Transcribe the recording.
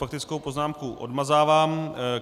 Faktickou poznámku odmazávám.